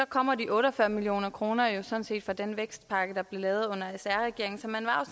kommer de otte og fyrre million kroner jo fra den vækstpakke der blev lavet under sr regeringen så man var